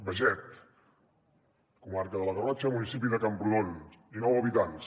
beget comarca de la garrotxa municipi de camprodon dinou habitants